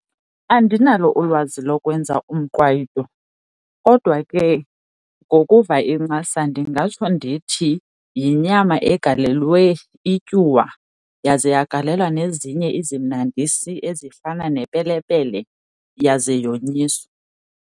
Andinalo ulwazi lokwenza umqwayito kodwa ke ngokuva incasa ndingatsho ndithi yinyama egalelwe ityuwa yaze yagalelwa nezinye izimnandisi ezifana nepelepele, yaze yonyiswa.